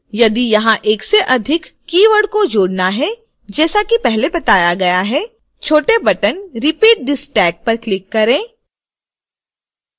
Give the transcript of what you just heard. यदि यहाँ एक से अधिक keyword को जोड़ना है जैसा कि पहले बताया गया है छोटे बटन repeat this tag पर क्लिक करें